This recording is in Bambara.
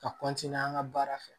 Ka an ka baara fɛ